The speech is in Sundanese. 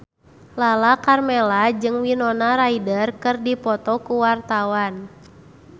Lala Karmela jeung Winona Ryder keur dipoto ku wartawan